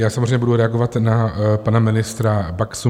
Já samozřejmě budu reagovat na pana ministra Baxu.